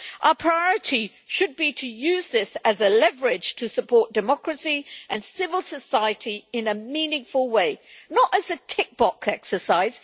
Our priority should be to use this as leverage to support democracy and civil society in a meaningful way, not as a tick box exercise.